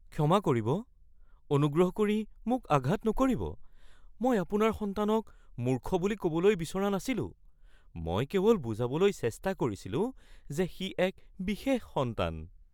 ক্ষমা কৰিব, অনুগ্ৰহ কৰি মোক আঘাত নকৰিব। মই আপোনাৰ সন্তানক মূৰ্খ বুলি ক’বলৈ বিচৰা নাছিলো। মই কেৱল বুজাবলৈ চেষ্টা কৰিছিলো যে সি এক বিশেষ সন্তান।